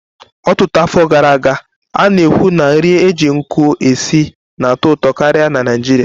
Ọtụtụ afọ gara aga, a na-ekwu na nri e ji nkụ esi na-atọ ụtọ karịa na Naịjirịa.